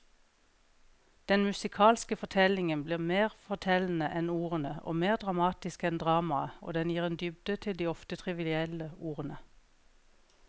Den musikalske fortellingen blir mer fortellende enn ordene og mer dramatisk enn dramaet, og den gir en dybde til de ofte trivielle ordene.